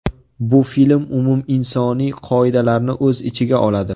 Bu film umuminsoniy qoidalarni o‘z ichiga oladi.